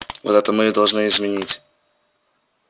вот это мы и должны изменить